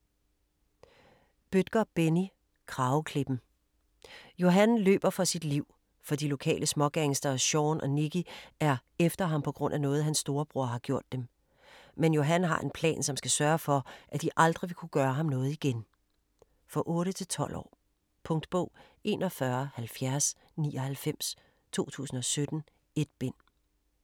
Bødker, Benni: Krageklippen Johan løber for sit liv, for de lokale smågangstere Shaun og Nicke er efter han pga. noget hans storebror har gjort dem. Men Johan har en plan som skal sørge for, at de aldrig vil kunne gøre ham noget igen. For 8-12 år. Punktbog 417099 2017. 1 bind.